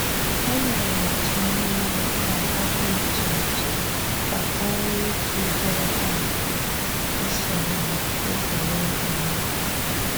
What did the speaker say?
E nyere otu niile agba dị iche iche ka o nwe ike ịdịrị ha mfe isonye na egwuregwu ahụ.